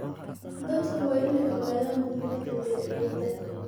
Dadku waa inay ogaadaan muhiimada beeralayda.